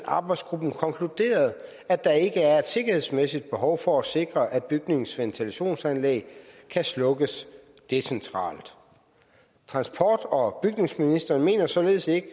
arbejdsgruppen konkluderede at der ikke er et sikkerhedsmæssigt behov for at sikre at bygningens ventilationsanlæg kan slukkes decentralt transport og bygningsministeren mener således ikke